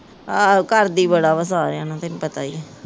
ਆਹੋ ਕਰਦੀ ਬੜਾ ਵਾ ਸਾਰਿਆਂ ਨਾਲ ਤੈਨੂੰ ਪਤਾ ਹੀ ਹੈ